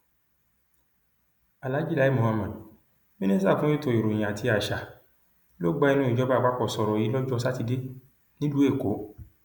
aláàjì lai muhammed mínísítà fún ètò ìròyìn àti àṣà ló gba ẹnu ìjọba àpapọ sọrọ yìí lọjọ sátidé nílùú èkó